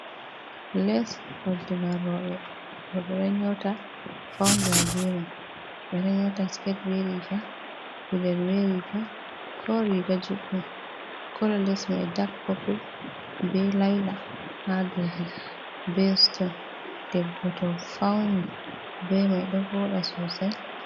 Les faunirga rewɓe, rewɓe ɗo nyota faunira bemai ɓe ɗo nyota siket be riga, gudel be riga ko riga judɗum, kolo les mai dak popul, be laila ha dou be ston debbo to fauni bemai ɗo vooɗa sosai.